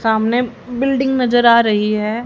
सामने बिल्डिंग नजर आ रही है।